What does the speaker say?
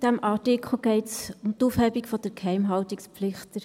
In diesem Artikel geht es um die Aufhebung der Geheimhaltungspflicht.